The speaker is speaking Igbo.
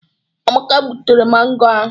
Amaka gbutere mangọ ahụ.